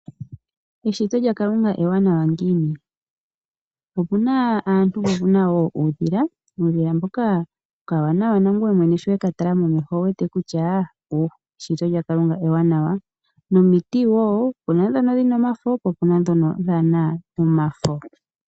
Eshito lyaKalunga ewanawa ngiini? Opu naa aantu, po opu na wo uudhila. Okadhila hoka okawanawa nangoye sho we ka tala momeho ototi eshito lyaKalunga ewanawa nomiti wo opu na ndhono dhi na omafo, po opu ndhono dhaana omafo.